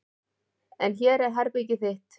En hér er herbergið þitt.